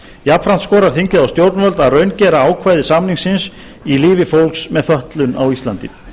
jafnframt skorar þingið á stjórnvöld að raungera ákvæði samningsins í lífi fólks með fötlun á íslandi